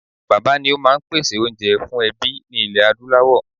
Bàbá́ ni ó máa ń pèsè oúnjẹ fún ẹbí ní ilẹ̀ Adúláwọ̀